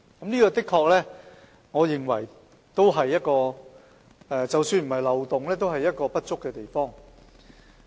這點我認為的確——即使不是漏洞——也是不足之處。